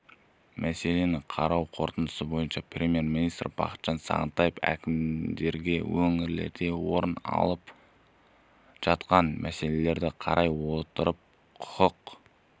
мәселені қарау қорытындысы бойынша премьер-министрі бақытжан сағынтаев әкімдерге өңірлерде орын алып жатқан мәселелерді қарай отырып құқық